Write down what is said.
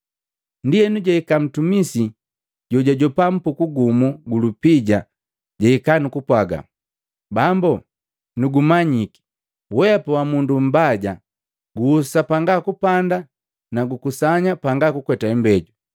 Ndienu jahika ntumisi jojajopa mpuku gumu gu lupija jahika nukupwaga, ‘Bambu nugumanyi weapa wa mundu mbaja, guhusa panga kupanda nu kukusanya panga kukweta imbejo.